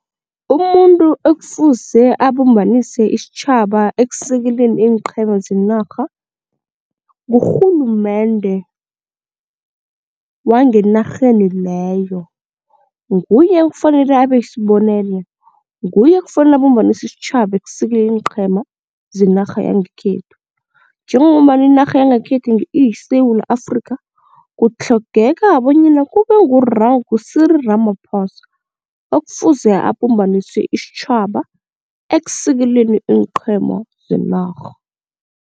Umuntu ekufuze abumbanise isitjhaba ekusekeleni iinqhema zenarha ngurhulumende wangenarheni leyo, nguye ekufanele abe sibonele, nguye ekufanele abumbanise isitjhaba ekusekeleni iinqhema zenarha yangekhethu. Njengombana inarha yangekhethu iyiSewula Afrikha kutlhogeka bonyana kube ngu-Cyril Ramaphosa okufuze abumbanise isitjhaba ekusekeleni iinqhema zenarha.